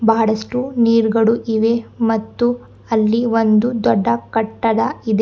ಬಹಳಷ್ಟು ನೀರ್ಗಳು ಇವೆ ಮತ್ತು ಅಲ್ಲಿ ಒಂದು ದೊಡ್ಡ ಕಟ್ಟಡ ಇದೆ.